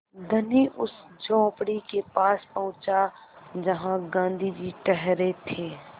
धनी उस झोंपड़ी के पास पहुँचा जहाँ गाँधी जी ठहरे थे